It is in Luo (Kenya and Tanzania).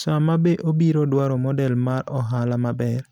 Sama be obiro dwaro model mar ohala maber,